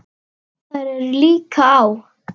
Þær eru líka á